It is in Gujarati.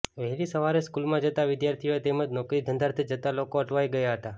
વહેલી સવારે સ્કૂલમાં જતા વિદ્યાર્થીઓ તેમજ નોકરી ધંધાર્થે જતા લોકો અટવાઇ ગયા હતા